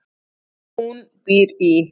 Hún býr í